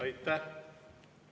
Aitäh!